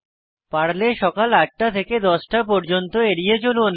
পারলে সকাল 8 টা থেকে 10 টা পর্যন্ত এড়িয়ে চলুন